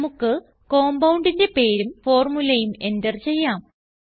നമുക്ക് compoundന്റെ പേരും ഫോർമുലയും എന്റർ ചെയ്യാം